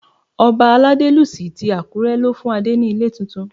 Ọba Aladelusi ti Àkúré ló fún Adé ní ilé tuntun.